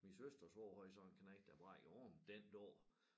Min søsters svoger havde så en knejt der brækkede hånden den dag